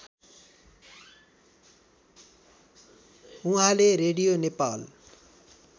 उहाँले रेडियो नेपाल